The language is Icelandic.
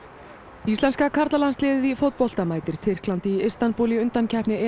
íslenska karlalandsliðið í fótbolta mætir Tyrklandi í Istanbúl í undankeppni